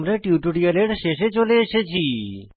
আমরা টিউটোরিয়ালের শেষে চলে এসেছি